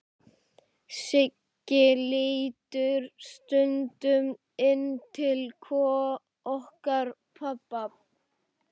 Siggi lítur stundum inn til okkar pabba.